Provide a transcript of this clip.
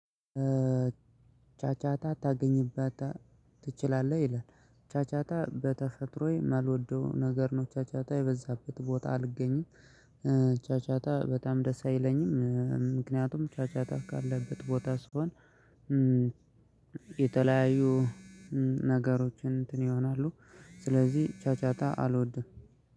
ጫጫታ ታገኝበታለህ ትችላለህ ይላል ጫጫታ በተፈጥሮዬ የማልወደው ነገር ነው ጫጫታ የበዛበት ቦታ አልገኝም። ጫጫታ በጣም ደስ አይለኝም። ምክንያቱም ጫጫታ ካለበት ቦታ ስሆን። የተለያዩ ነገሮችን እንትን ይሆናሉ። ስለዚህ ጫጫታ አልወድም።